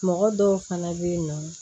Mɔgɔ dɔw fana bɛ yen nɔ